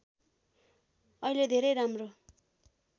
अहिले धेरै राम्रो